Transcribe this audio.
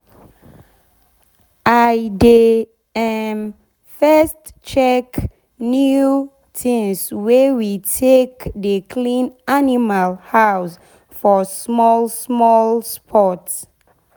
i dey um first check new tins wey we take dey clean animal house for small small spot.